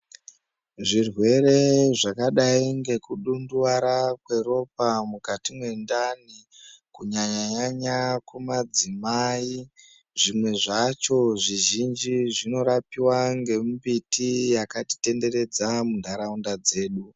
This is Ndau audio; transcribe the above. Zvirwere zvakadai ngekudunduvara kweropa mukati mwendani, kunyanya-nyanya kumadzimai, zvimwe zvacho zvizhinji zvinorapiwa ngemumbiti yakatitenderedza munharaunda dzedu.